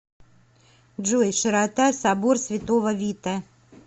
джой широта собор святого вита